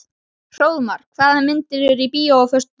Hróðmar, hvaða myndir eru í bíó á föstudaginn?